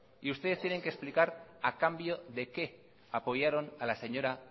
y ustedes tienen que explicar a cambio de qué apoyaron a las señora